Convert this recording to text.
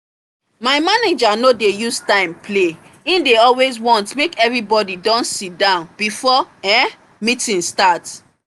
my manager no dey use time play and he dey always want make everybody don sit down before um meeting start